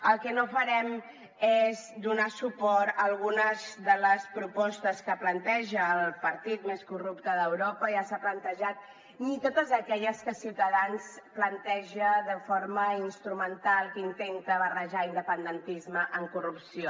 el que no farem és donar suport a algunes de les propostes que planteja el partit més corrupte d’europa ja s’ha plantejat ni a totes aquelles que ciutadans planteja de forma instrumental que intenten barrejar independentisme amb corrupció